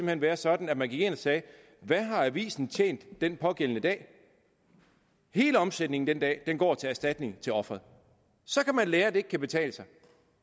hen være sådan at man gik ind og sagde hvad har avisen tjent den pågældende dag hele omsætningen den dag går til erstatning til offeret så kan man lære at det ikke kan betale sig